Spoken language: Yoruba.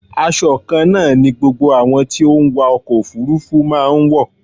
Asọ kan náà ni gbogbo àwọn tí ó ń wa ọkọ̀ òfúrúfú máa ń wọ.